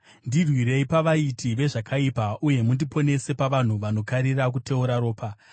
Ndirwirei pavaiti vezvakaipa, uye mundiponese pavanhu vanokarira kuteura ropa.